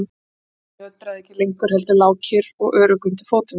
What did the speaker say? Jörðin nötraði ekki lengur heldur lá kyrr og örugg undir fótum þeirra.